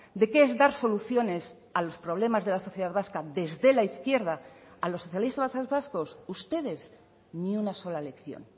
de qué es dar soluciones a los problemas de la sociedad vasca desde la izquierda a los socialistas vascos ustedes ni una sola lección